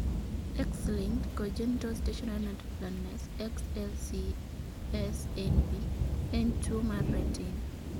X-linked congenital stationary night blindness (XLCSNB) en tuwo mar retina.